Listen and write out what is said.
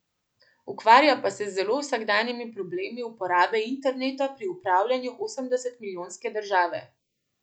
Ukvarja pa se z zelo vsakdanjimi problemi uporabe interneta pri upravljanju osemdesetmilijonske države.